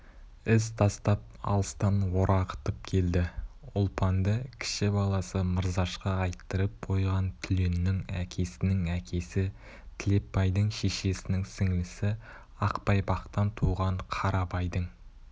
із тастап алыстан орағытып келді ұлпанды кіші баласы мырзашқа айттырып қойған түленнің әкесінің әкесі тілепбайдың шешесінің сіңлісі ақбайпақтан туған қарабайдың